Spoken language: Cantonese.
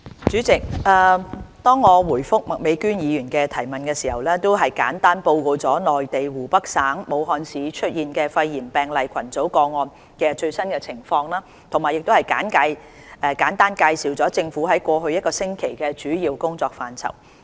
主席，在答覆麥美娟議員的質詢時，我已簡單報告了內地湖北省武漢市出現肺炎病例群組個案的最新情況，並簡單介紹政府在過去1星期的主要工作範疇。